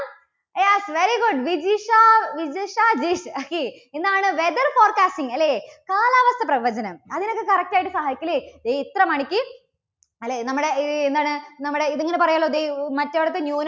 yes, very good Vijisha, Vijisha ജിസ് okay. എന്താണ് weather forecasting അല്ലേ? കാലാവസ്ഥാപ്രവചനം. അതിനൊക്കെ correct ആയിട്ട് സഹായിക്കും അല്ലേ? ദേ ഇത്ര മണിക്ക് അല്ലേ? നമ്മുടെ എന്താണ് നമ്മുടെ ഇത് ഇങ്ങനെ പറയുമല്ലോ ദേ മറ്റിടത്ത് ന്യൂന~